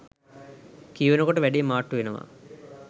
කියවනකොට වැඩේ මාට්ටු වෙනවා.